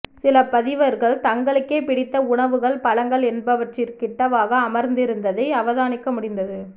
சில பதிவர்கள் தங்களுக்கே பிடித்த உணவுகள் பழங்கள் என்பவற்றிற்கு கிட்டவாக அமர்ந்திருந்ததை அவதானிக்க முடிந்தது